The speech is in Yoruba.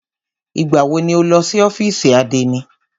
Ìgbà wọ ni o lọ sí ọ́fìsì àdénì?